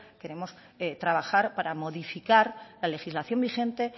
queremos trabajar para modificar la legislación vigente